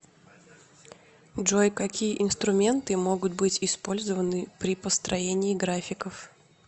джой какие инструменты могут быть использованы при построении графиков